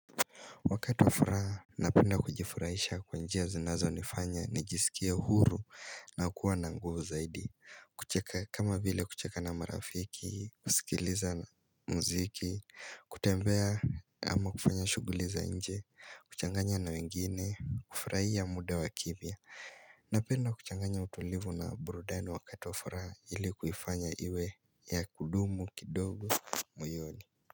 Wakati wa furaha napenda kujifurahisha kwa njia zinazonifanya nijisikie huru na kuwa na nguvu zaidi kama vile kucheka na marafiki, kusikiliza muziki, kutembea ama kufanya shughuli za nje, kuchanganya na wengine, kufurahia muda wa kimya Napenda kuchanganya utulivu na burudani wakati wa furaha ili kuifanya iwe ya kudumu kidogo moyoni.